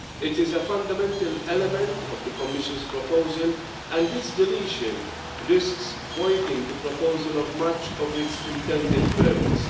It is a fundamental element of the Commission's proposal, and its deletion risks emptying the proposal of much of its intended purpose.